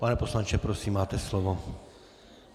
Pane poslanče, prosím, máte slovo.